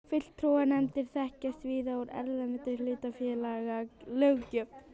Fulltrúanefndir þekkjast víða úr erlendri hlutafélagalöggjöf.